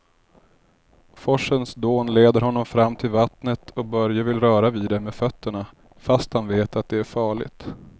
Forsens dån leder honom fram till vattnet och Börje vill röra vid det med fötterna, fast han vet att det är farligt.